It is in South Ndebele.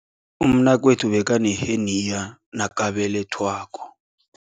Umnakwethu bekaneheniya nakabelethwako.